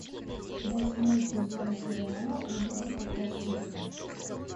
восьмой сезон сериала улица потрошителя